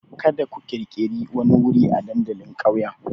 Kada ku ƙirƙiri wani wuri a dandalin ƙauyen!